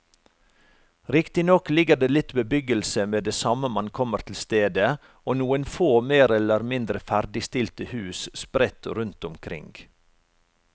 Riktignok ligger det litt bebyggelse med det samme man kommer til stedet og noen få mer eller mindre ferdigstilte hus sprett rundt omkring.